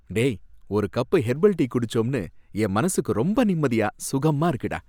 டேய், ஒரு cup herbal tea குடிச்சோனு என் மனசுக்கு ரொம்ப நிம்மதியா, சுகமா இருக்குடா.